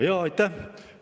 Aitäh!